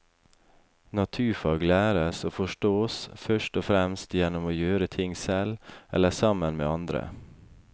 Naturfag læres og forstås først og fremst gjennom å gjøre ting selv eller sammen med andre.